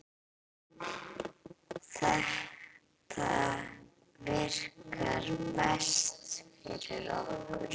Þetta virkar best fyrir okkur.